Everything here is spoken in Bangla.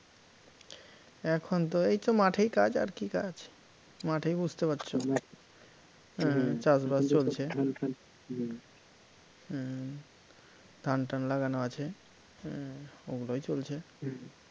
এখন তো এই তো মাঠেই কাজ আর কী কাজ মাঠেই বুঝতে পারছ চাষবাস চলছে হম ধান টান লাগানো আছে, ওগুলোই চলছে